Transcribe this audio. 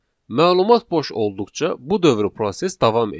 Məlumat boş olduqca bu dövri proses davam edir.